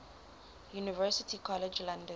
university college london